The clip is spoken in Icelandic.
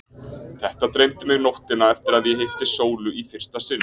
Þetta dreymdi mig nóttina eftir að ég hitti Sólu í fyrsta sinn.